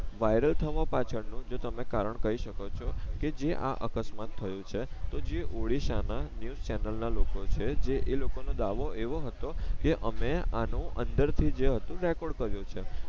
viral થવા પાછળ નો જો તમે કારણ કઈ શકો છો કે જે આ અકસ્માત થયો છે તો જે ઓડીસા ના ન્યુઝ ચેનલ ના લોકો છે જે એ લોકો નો દાવો એવો હતો કે અમે આ નો અંદર થી જે હતું રેકોર્ડ કર્યું છે